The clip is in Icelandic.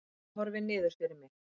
Ég horfi niður fyrir mig.